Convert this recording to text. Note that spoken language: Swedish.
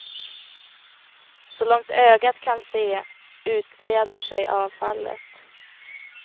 Så långt ögat kan se utbreder sig avfallet.